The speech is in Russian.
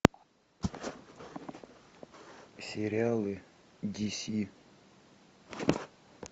сериалы ди си